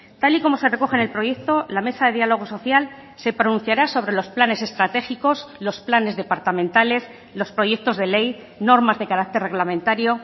tal y como se recoge en el proyecto la mesa de diálogo social se pronunciará sobre los planes estratégicos los planes departamentales los proyectos de ley normas de carácter reglamentario